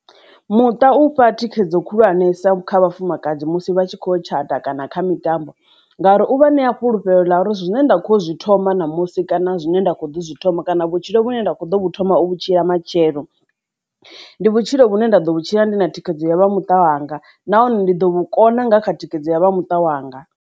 Muṱa u fha thikhedzo khulwanesa kha vhafumakadzi musi vha tshi kho tshata kana kha mitambo ngauri u vha ṋea fhulufhelo ḽa uri zwine nda kho zwi thoma ṋamusi kana zwine nda kho ḓi thoma kana vhutshilo vhune nda kho ḓo vhu thoma vhutshilo matshelo ndi vhutshilo vhune nda ḓo vhutshilo ndi na thikhedzo ya vha muṱa wanga nahone ndi ḓo vhukona nga kha thikhedzo ya vha muṱa wanga.